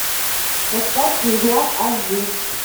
поставь слизняк аш ди